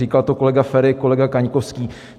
Říkal to kolega Feri, kolega Kaňkovský.